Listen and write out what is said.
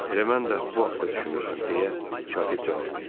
Elə mən də bu haqda düşünürdüm, deyə katib cavab verdi.